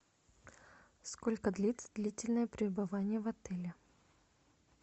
сколько длится длительное пребывание в отеле